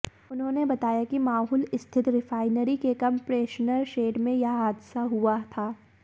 उन्होंने बताया कि माहुल स्थित रिफायनरी के कंप्रेशनर शेड में यह हादसा हुआ था